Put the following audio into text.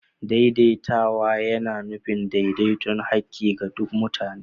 Daidaituwa yana nufin daidaiton haƙƙi ga duk mutane.